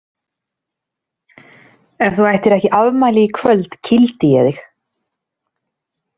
Ef þú ættir ekki afmæli í kvöld kýldi ég þig.